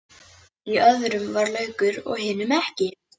Í öðrum var laukur en hinum ekki.